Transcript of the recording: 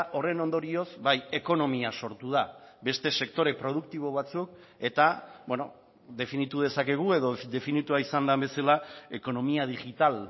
horren ondorioz bai ekonomia sortu da beste sektore produktibo batzuk eta definitu dezakegu edo definitua izan den bezala ekonomia digital